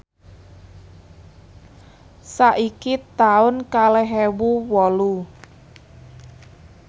saiki taun kalih ewu wolu